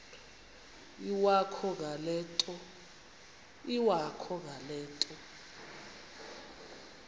iwakho ngale nto